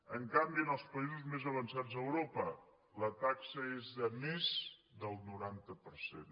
en canvi en els països més avançats d’europa la taxa és de més del noranta per cent